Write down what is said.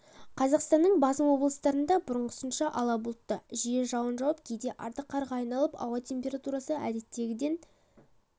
қазақстанның басым облыстарында бұрынғысынша ала бұлтты жиі жауын жауып кейде арты қарға айналып ауа температурасы әдеттегіден